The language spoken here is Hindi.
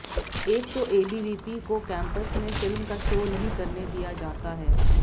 एक तो एबीवीपी को कैंपस में फिल्म का शो नहीं करने दिया जाता है